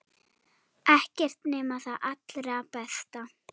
Ekkert nema það allra besta.